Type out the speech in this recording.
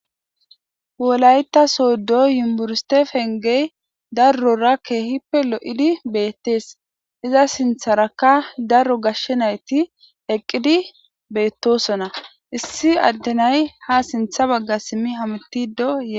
Wolayta soodo yumburstefengey darrorakkehippe lo'idi beettees iza sintharakka daro gashshe nayti eqqidi beettosona issi addenay ha sintha bagga simmi hamitidoyee.